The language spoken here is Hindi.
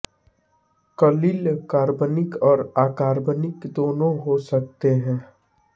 कलिल कार्बनिक और अकार्बनिक दोनों हो सकते हैं